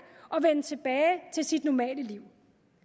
og vende tilbage til sit normale liv